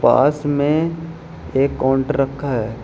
पास में एक काउंटर रखा है।